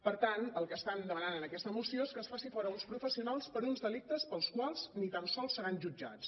per tant el que estan demanant en aquesta moció és que es faci fora uns professionals per uns delictes pels quals ni tan sols seran jutjats